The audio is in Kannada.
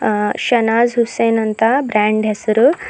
ಅ ಶನಾಜ್ ಹುಸೇನ್ ಅಂತ ಬ್ರಾಂಡ್ ಹೆಸರು--